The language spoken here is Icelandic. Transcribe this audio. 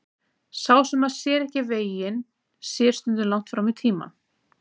Sá sem að sér ekki veginn sér stundum langt fram í tímann.